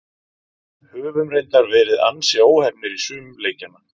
Höfum reyndar verið ansi óheppnir í sumum leikjanna.